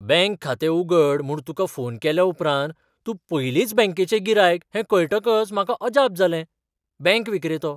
Bank खातें उगड म्हूण तुका फोन केल्या उपरांत तूं पयलींच बँकेचें गिरायक हें कळटकच म्हाका अजाप जालें. बँक विक्रेतो